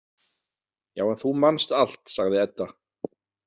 Já, en þú manst allt, sagði Edda.